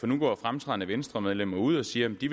nu går fremtrædende venstremedlemmer ud og siger at de